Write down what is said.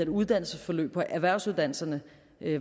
uddannelsesforløb på erhvervsuddannelserne